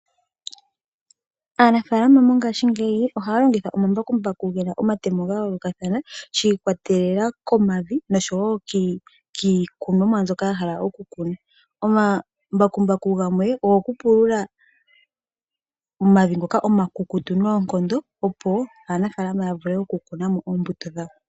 Aanafaalama mongashingeyi ohaya longitha omambakumbaku ge na omatemo fa yoolokathana shi ikwatelela komavi osho wo kiikunomwa mbyoka ya hala okukuna .Omambakumbaku gamwe ogokupulula omavi ngoka omakukutu nookondo, opo aanafalama ya vule okukuna mo oombuto dhawo.